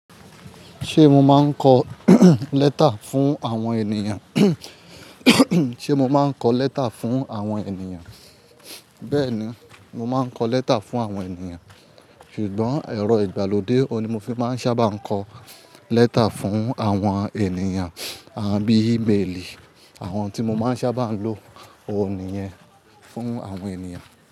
Ṣé mo máa ń kọ lẹ́tà fún àwọn ènìyàn? Ṣé mo máa ń kọ lẹ́tà fún àwọn ènìyàn? Bẹ́ẹ̀ni, mo máa ń kọ lẹ́tà fún àwọn ènìyàn. Ṣùgbọ́n, ẹ̀rọ ìgbàlódé òní mo fi máa ń sábà ń kọ lẹ́tà fún àwọn ènìyàn, àbí ímélì. Àwọn tí mo máa ń sábà lo òní yẹn fún àwọn ènìyàn.